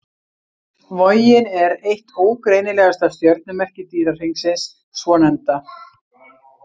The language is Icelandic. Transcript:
Vogin er eitt ógreinilegasta stjörnumerki dýrahringsins svonefnda.